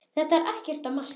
Þetta er ekkert að marka.